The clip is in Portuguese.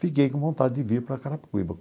Fiquei com vontade de vir para Carapicuíba.